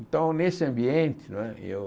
Então, nesse ambiente não é, eu...